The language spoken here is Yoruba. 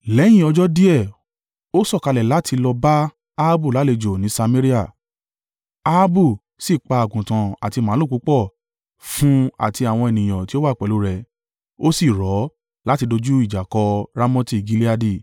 Lẹ́yìn ọjọ́ díẹ̀, ó sọ̀kalẹ̀ láti lọ bá Ahabu lálejò ní Samaria. Ahabu sì pa àgùntàn àti màlúù púpọ̀ fún àti àwọn ènìyàn tí ó wà pẹ̀lú rẹ̀ ó sì rọ̀ ọ́ láti dojú ìjà kọ Ramoti Gileadi.